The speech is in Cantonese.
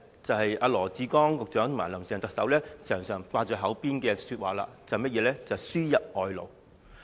便是羅致光局長及"林鄭"特首經常掛在口邊的話，即"輸入外勞"。